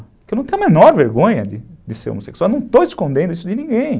Eu não tenho a menor vergonha de ser homossexual, eu não estou escondendo isso de ninguém.